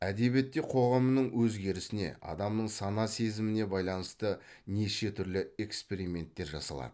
әдебиетте қоғамның өзгерісіне адамның сана сезіміне байланысты неше түрлі эксперименттер жасалады